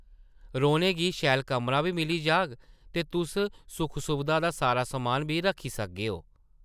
रौह्ने गी शैल कमरा बी मिली जाह्ग ते तुस सुख-सुबधा दा सारा समान बी रक्खी सकगेओ ।